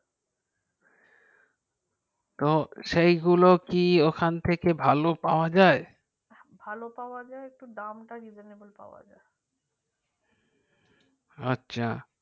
তো সেই গুলো কি ওখান থেকে ভালো পাওয়া যাই ভালো পাওয়া একটু দাম টা revenebul পাওয়া যাই